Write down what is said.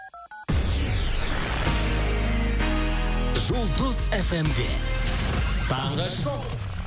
жұлдыз эф эм де таңғы шоу